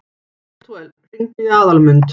Betúel, hringdu í Aðalmund.